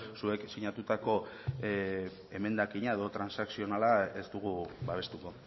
zuek sinatutako emendakina edo transakzionala ez dugu babestuko